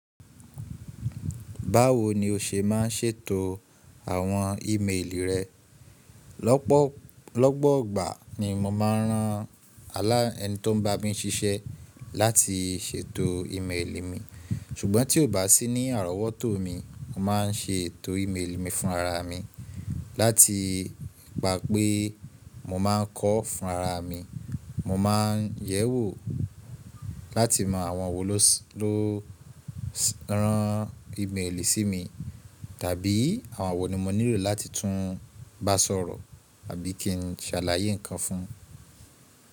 Báwo ni o ṣe má ń ṣètò àwọn ìméèlì rẹ? Lọ́pọ̀gbà ni mo má ń rán alá ẹni tó ń bá mi ṣiṣẹ́ láti ṣètò ìméèlì mi, ṣùgbọ́n tí kò bá sí ní àrọ́wọ́tò mi, mo má ń ṣe ètò ìméèlì mi fúnra ra mi láti gbà pé mo má ń kọ́ fún ara mi. Mo má ń yẹ̀wò láti mọ àwọn wo ló rán ìméèlì sí mi tàbí àwọn wo ni mo nílò láti tún bá sọ̀rọ̀ àbí kí n ṣàlàyé ǹkan fún un.